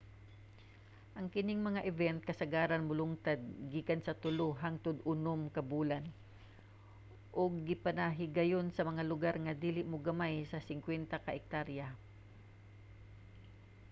ang kining mga event kasagaran molungtad gikan sa tulo hangtod unom ka bulan ug ginapahigayon sa mga lugar nga dili mogamay sa 50 ka ektarya